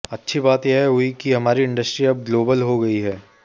अच्छी बात यह हुई है कि हमारी इंडस्ट्री अब ग्लोबल हो गई है